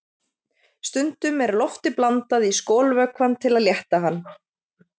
Stundum er lofti blandað í skolvökvann til að létta hann.